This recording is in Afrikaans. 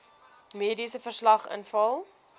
mediese verslag invul